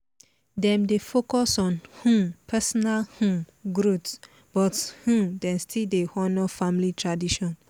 dem dey focus on um personal um growth but um dem still dey honour family tradition